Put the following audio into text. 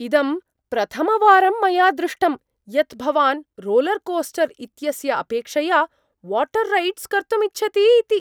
इदं प्रथमवारं मया दृष्टम् यत् भवान् रोलर्कोस्टर् इत्यस्य अपेक्षया वाटर् रैडस् कर्तुमिच्छति इति।